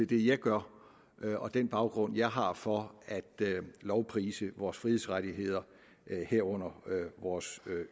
det jeg gør og den baggrund jeg har for at lovprise vores frihedsrettigheder herunder vores